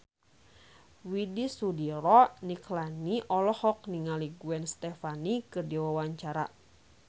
Widy Soediro Nichlany olohok ningali Gwen Stefani keur diwawancara